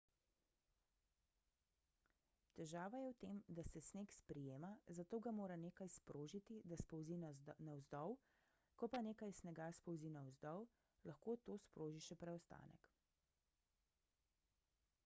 težava je v tem da se sneg sprijema zato ga mora nekaj sprožiti da spolzi navzdol ko pa nekaj snega spolzi navzdol lahko to sproži še preostanek